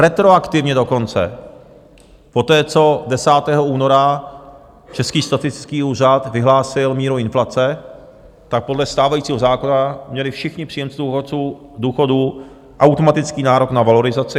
Retroaktivně dokonce, poté, co 10. února Český statistický úřad vyhlásil míru inflace, tak podle stávajícího zákona měli všichni příjemci důchodů automatický nárok na valorizaci.